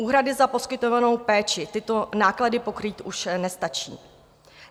Úhrady za poskytovanou péči tyto náklady pokrýt už nestačí.